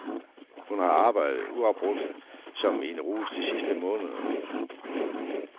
Hun har arbejdet uafbrudt som i en rus de sidste måneder.